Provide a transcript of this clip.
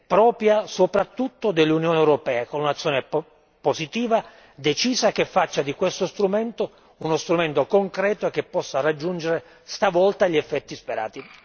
propria soprattutto dell'Unione europea con un'azione positiva, decisa, che faccia di questo strumento uno strumento concreto che possa raggiungere stavolta gli effetti sperati.